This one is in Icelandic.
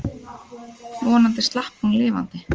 Vonandi slapp hún lifandi.